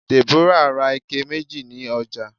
Deborah bought two buckets at the market